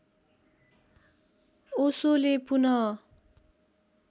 ओशोले पुनः